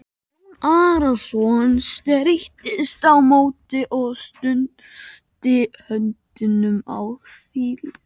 Jón Arason streittist á móti og studdi höndum á þilið.